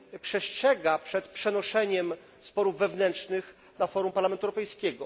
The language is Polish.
przestrzega przed przenoszeniem sporów wewnętrznych na forum Parlamentu Europejskiego.